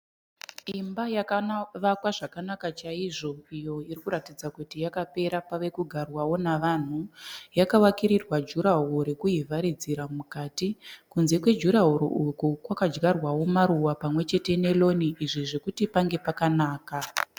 Imba yakavakwa zvakanaka chaizvo iyo irikuratidza kuti yakapera pave kugarwawo navanhu. Yakavakirirwa juraworo rekuivharidzira mukati. Kunze kwejuraworo uku kwakadyarwawo maruva pamwechete neroni, izvi zvokuti pange pakanaka.